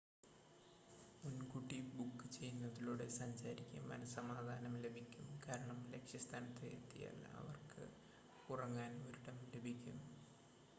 മുൻകൂട്ടി ബുക്ക് ചെയ്യുന്നതിലൂടെ സഞ്ചാരിക്ക് മനസ്സമാധാനം ലഭിക്കും കാരണം ലക്ഷ്യസ്ഥാനത്ത് എത്തിയാൽ അവർക്ക് ഉറങ്ങാൻ ഒരിടം ലഭിക്കും